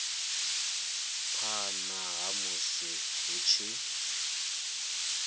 phana ha musi hu tshi